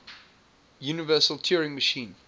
universal turing machine